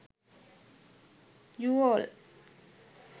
uol